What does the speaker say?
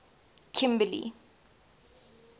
kimberley